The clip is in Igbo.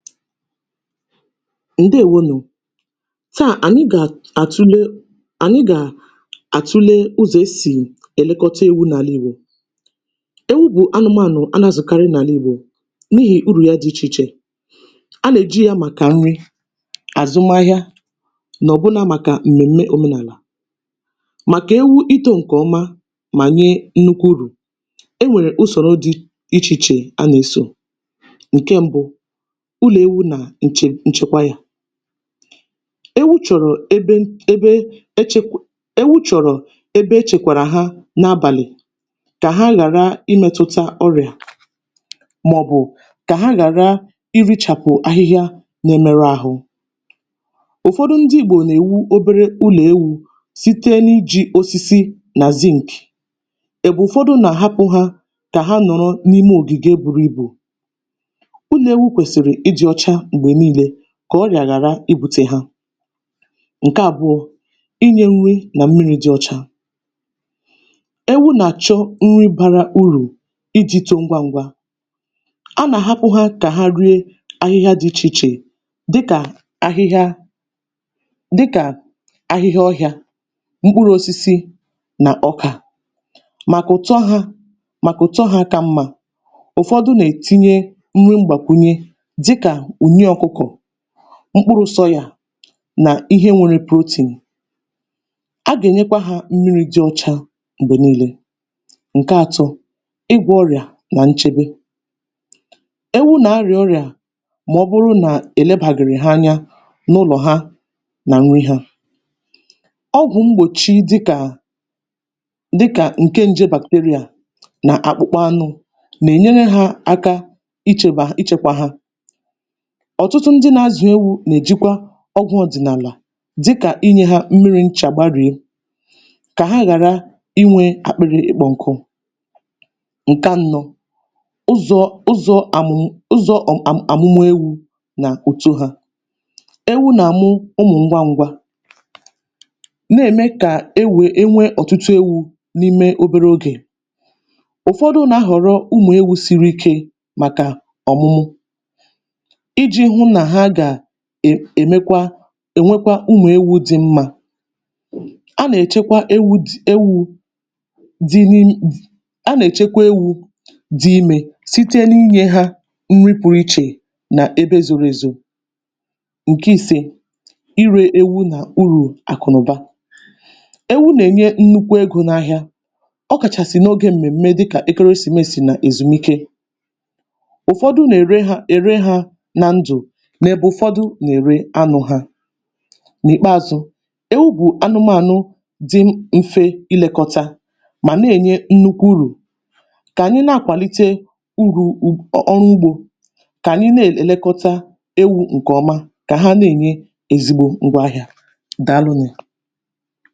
Ndeèwonù! Taà ànyị gà-àtule ànyị gà àtule ụzọ esì èlekọta éwū n’àlà Igbo. Ewu bụ̀ anụmaànụ̀ anụ̀ azụ̀karị n’àlà Igbo n’ihì urù ya dị ichè ichè. A nà-èji ya màkà nri, àzụmaahịa nà ọ̀bụna màkà m̀mèm̀me òmenàlà. Màkà ewu itȯ ǹkè ọma mà nye nnukwu urù, e nwèrè usòrò dị ichè ichè a nà-esò. Nkè mbụ, ụlọ ewu na nche nchekwa ya. Ewu chọ̀rọ̀ eben ebe, ewu chọrọ ebe echekwarà ha n’abàlị̀ kà ha ghàra imėtụta ọrịà màọ̀bụ̀ kà ha ghàra irichàpụ̀ ahịhịa na-emerụ ahụ. Ụfọdụ ndị Igbò nà-èwú obere ụlọ̀ ewu̇ site n’iji̇ osisi nà zinc èbe ụfọdụ nà-àhapụ̀ hȧ kà ha nọrọ n’ime ògìgè buru ibù. Ụlọ ewu kwesịrị ịdị ọcha mgbe niile kà ọrịa ghàra igbutė ha. Nkè àbụọ, inyė nri nà mmiri dị ọcha. Ewu nà-àchọ nri bara urù iji toó ńgwá ǹgwà. A nà-àhapụ ha kà ha rie ahịhịa dị ichè ichè dịkà ahịhịa dịkà ahịhịa ọhịa, mkpụrụ osisi nà ọkà màkà ụ̀tọ hȧ màkà ụ̀tọ́ ha kà mmȧ. Ụfọdụ nà-ètinye nri mgbàkwùnye ùnyí ọkụkọ̀, mkpụrụ sọyà nà ihe nwere protein. A gà-ènyekwa hȧ mmiri di ọcha mgbè niile. Nke atọ, ịgwọ ọrịà nà nchebe. Ewu nà-arị̀à ọrịà mà ọ bụrụ nà èlebàghịrị ha anya n’ụlọ̀ ha, nà nri ha. Ọgwụ̀ mgbòchi dịkà, dịkà ǹke nje bacteria nà akpụkpa anụ, nà-enyere ha aka ichėbà ichėkwà ha. Ọtụtụ ndị na-azụ̀ ewu̇ nà-èjikwa ọgwụ̇ ọ̀dị̀nàlà dịkà inyė hȧ mmirí ńchà kà ha ghàra inwė akpịrị ịkpọ̇ ǹkụụ.̇ Nkè annọ, ụzọ ụzọ̇ àmùmụ̀ ụzọ̀ ọm.. aam..amùmụ̀ ewu nà ùtó hȧ. Ewu nà-àmụ ụmụ̀ ngwa ṅgwȧ, na-ème kà e wèe e nwee ọ̀tụtụ ewu n’ime obere ogè. Ụfọdụ nà-ahọ̀rọ ụmụ̀ ewu siri ike màkà ọ̀mụmụ iji hụ na ha e ga-è èmekwa ènwekwa ụmụ ewu dị mmȧ. A nà-èchekwa ewu dị ewu dị n’ime, a nà-èchekwa ewu dị imė site n’inyė hȧ nri pụ̀rụ̀ ichè nà ebe zoro èzò. Nke ìse, irė ewu nà urù àkụ̀nụ̀ba. Ewu nà-ènye nnukwu egō n’ahịa, ọkàchàsị̀ n’ogė m̀mèm̀me dịkà ekeresìmesì nà èzùmike. Ụfọdụ nà-ère ha ere ha na ndụ, n’ebe ụfọdụ nà-ère anụ hȧ. N'ìkpeazụ, ewu bụ anụmȧnụ dị mfe ilekọta mà na-ènyé nnukwu urù. Kà ànyị na-akwàlite urù ụ ọrụ ugbȯ, kà ànyị na-èlekọta ewu ǹkè ọmá, kà ha na-ènyé ezigbo ngwaahịȧ. Dàalụnụ!